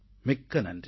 மிக்க நன்றி